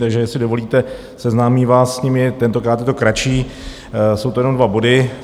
Takže jestli dovolíte, seznámím vás s nimi, tentokrát je to kratší, jsou to jenom dva body.